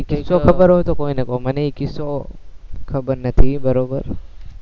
ઈ કિસ્સો ખબર હોય તો કોઈને કો મને ઈ કિસ્સો ખબર નથી, બરોબર